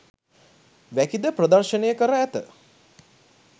වැකිද ප්‍රදර්ශනය කර ඇත